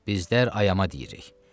Bizlər ayama deyirik.